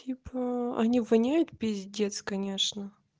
типа они воняют пиздец конечно